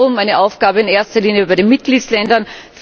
Wiederum eine Aufgabe in erster Linie für die Mitgliedsländer.